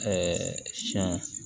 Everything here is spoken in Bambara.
siyɛn